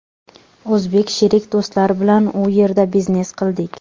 O‘zbek sherik do‘stlar bilan u yerda biznes qildik.